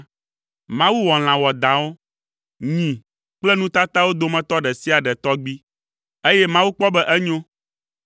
Mawu wɔ lã wɔadãwo, nyi kple nu tatawo dometɔ ɖe sia ɖe tɔgbi. Eye Mawu kpɔ be enyo.